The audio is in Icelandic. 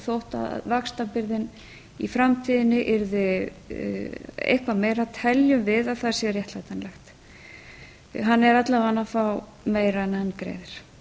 þótt vaxtabyrðin í framtíðinni yrði eitthvað meira teljum við að það sé réttlætanlegt hann er alla vega meiri en hann greiðir